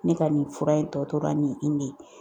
Ne ka nin fura in tɔ tora nin de ye